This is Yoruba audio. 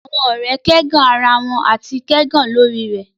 Awọn ọrẹ ẹgan ara wọn ati kẹgàn lori rẹ